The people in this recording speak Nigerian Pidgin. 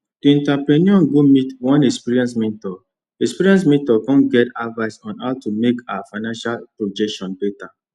the entrepreneur go meet one experienced mentor experienced mentor con get advice on how to make her financial projections better